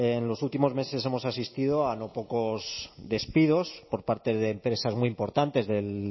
en los últimos meses hemos asistido a no pocos despidos por parte de empresas muy importantes del